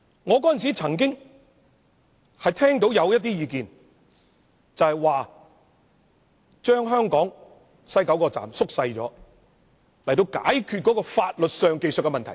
我當時曾經聽到一項意見，就是縮小香港西九龍站以解決法律上的技術問題。